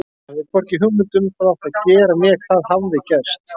Ég hafði hvorki hugmynd um hvað átti að gera né hvað hafði gerst.